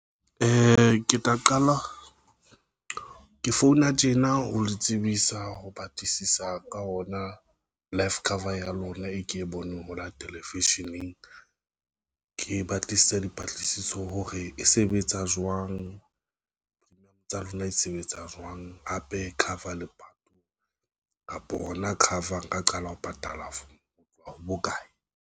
Ke tla qala ke founa tjena ho le tsebisa ho batlisisa ka ona life cover ya lona, e ke e boneng hola Television eng ke batlisisa dipatlisiso hore e sebetsa jwang. Premium tsa lona di sebetsa jwang kapa cover lepato kapa hona cover nka qala ho patala ho tloha ho bokae?